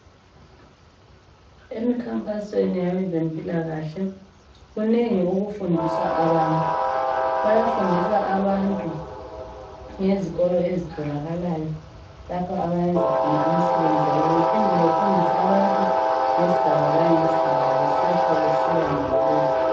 Emikhankasweni yabezempilakahle kunengi okufundiswa abantu. Bayafundisa abantu ngezikolo ezitholakalayo lapho abayenza akhona imisebenzi yabo. Bephinde befundise abantu ngesigaba ngesigaba ngokuya ngokuya.